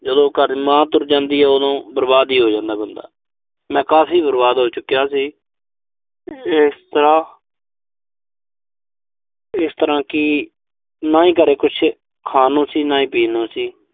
ਜਦੋਂ ਘਰ ਮਾਂ ਤੁਰ ਜਾਂਦੀ ਆ, ਉਦੋਂ ਬਰਬਾਦ ਹੀ ਹੋ ਜਾਂਦਾ ਬੰਦਾ। ਮੈਂ ਕਾਫ਼ੀ ਬਰਬਾਦ ਹੋ ਚੁੱਕਿਆ ਸੀ। ਇਸ ਤਰ੍ਹਾਂ ਇਸ ਤਰ੍ਹਾਂ ਕਿ ਨਾ ਹੀ ਘਰੇ ਕੁਸ਼ ਖਾਣ ਨੂੰ ਸੀ, ਨਾ ਹੀ ਪੀਣ ਨੂੰ ਸੀ।